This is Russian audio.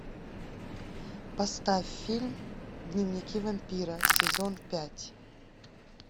поставь фильм дневники вампира сезон пять